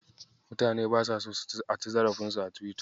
Mutane basa so a ci zarafinsu a Tiwita.